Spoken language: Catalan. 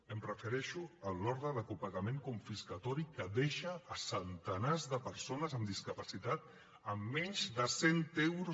em refereixo a l’ordre de copagament confiscatori que deixa centenars de persones amb discapacitat amb menys de cent euros